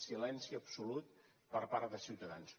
silenci absolut per part de ciutadans